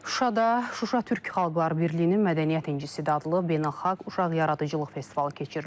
Şuşada Şuşa Türk Xalqları Birliyinin Mədəniyyət İncisi adlı beynəlxalq uşaq yaradıcılıq festivalı keçirilir.